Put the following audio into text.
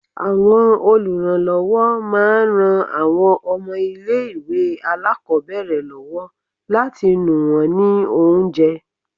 Àwọn olùrànlọ́wọ́ máa ń ran àwọn ọmọ ilé ìwé alákòbẹ̀rẹ̀ lọ́wọ́ láti nù wón ní oúnjẹ.